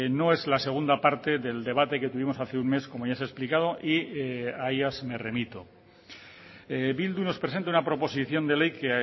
no es la segunda parte del debate que tuvimos hace un mes como ya se ha explicado y a ellas me remito bildu nos presenta una proposición de ley que